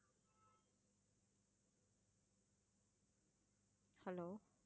hello